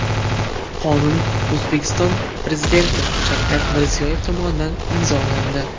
Qonun O‘zbekiston Prezidenti Shavkat Mirziyoyev tomonidan imzolandi.